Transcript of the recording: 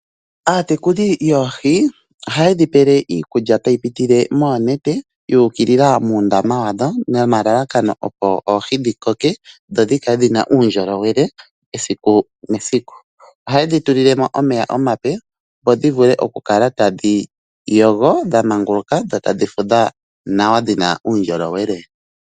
Aatekuli yoohi ohaye dhi pe iikulya tayi pitile moonete, yu ukilila moondama dhadho nomalalakano dhi koke dho dhi kale dhi na uundjolowele esiku nesiku. Ohaye dhi tulile mo omeya omape, opo dhi vule okukala tadhi yogo dha manguluka dho tadhi fudha nawa dhi na uundjolowele.